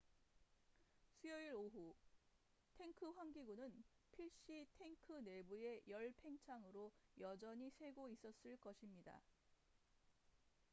수요일 오후 탱크 환기구는 필시 탱크 내부의 열팽창으로 여전히 새고 있었을 것입니다